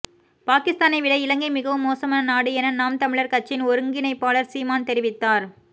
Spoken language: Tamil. பாகிஸ்தானை விட இலங்கை மிகவும் மோசமான நாடு என நாம் தமிழர் கட்சியின் ஒருங்கிணைப்பாளர் சீமான் தெரிவித்த